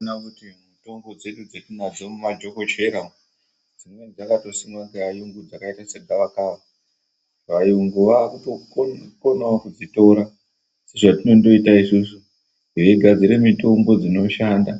Tinoona kuti mitombo dzedu dzatinadzo mumadhokoshera umo dzimweni dzakatosimwa ngeayungu dzakaita segawakawa, vayungu vakutokonawo kudzitora zvatinondoita isusu veigadzire mitombo dzinoshanda